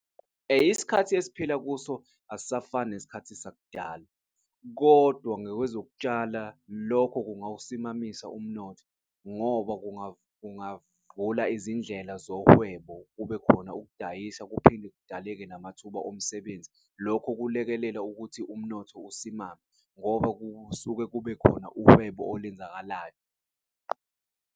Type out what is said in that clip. Isikhathi esiphila kuso asisafani nesikhathi sakudala kodwa ngokwezokutshala lokho kungawusimamisa umnotho, ngoba kungavula izindlela zohwebo, kubekhona ukudayisa, kuphinde kudaleke namathuba omsebenzi. Lokhu kulekelela ukuthi umnotho usimame ngoba kusuke kube khona uhwebo olenzakalayo.